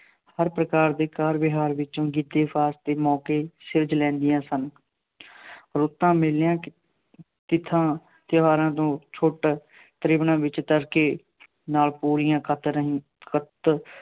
ਹਰ ਪ੍ਰਕਾਰ ਦੇ ਕਾਰ ਵਿਹਾਰ ਵਿੱਚੋਂ ਦੇ ਮੌਕੇ ਸਿਰਜ ਲੈਂਦੀਆਂ ਸਨ। ਰੁੱਤਾਂ, ਮੇਲਿਆਂ, ਤਿੱਥਾਂ, ਤਿਉਹਾਰਾਂ ਤੋਂ ਛੋਟਾ ਤ੍ਰਿੰਵਣਾਂ ਵਿੱਚ ਤੜਕੇ ਨਾਲ ਪੂਣੀਆਂ ਕੱਤ ਰਹੀਆਂ, ਕੱਤ